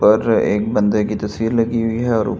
पर एक बंदे की तस्वीर लगी हुई है और--